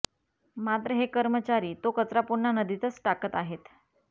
मात्र हे कर्मचारी तो कचरा पुन्हा नदीतच टाकत आहेत